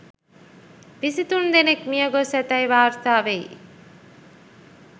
විසි තුන් දෙනෙක් මියගොස් ඇතැයි වාර්තා වෙයි.